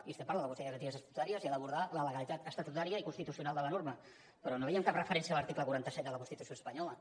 i estem parlant del consell de garanties estatutàries que ha d’abordar la legalitat estatutària i constitucional de la norma però no veiem cap referència a l’article quaranta set de la constitució espanyola